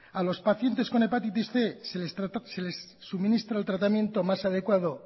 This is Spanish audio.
a los pacientes con hepatitis cien se les suministra el tratamiento más adecuado